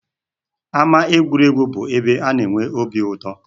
Ámá egwuregwu bụ ebe na-enwe obi uto